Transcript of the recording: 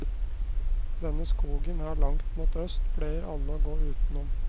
Denne skogen her langt mot øst, pleier alle å gå utenom.